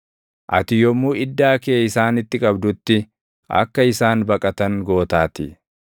Ati yommuu iddaa kee isaanitti qabdutti, akka isaan baqatan gootaatii.